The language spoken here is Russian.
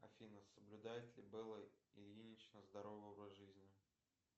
афина соблюдает ли белла ильинична здоровый образ жизни